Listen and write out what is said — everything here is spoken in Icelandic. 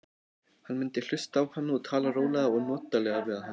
Hann mundi hlusta á hana og tala rólega og notalega við hana.